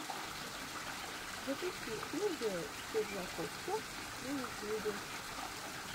запусти сергео киржакоффа на ютьюбе